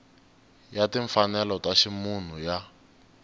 ya timfanelo ta ximunhu ya